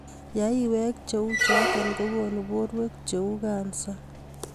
Yaiweek che u choto kokonu borweek che uu kansaa